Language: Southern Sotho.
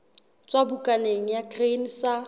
tswa bukaneng ya grain sa